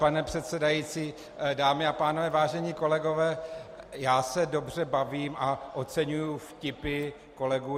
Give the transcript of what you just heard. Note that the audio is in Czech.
Pane předsedající, dámy a pánové, vážení kolegové, já se dobře bavím a oceňuji vtipy kolegů.